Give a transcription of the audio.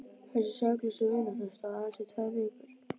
Þessi saklausa vinátta stóð aðeins í tvær vikur.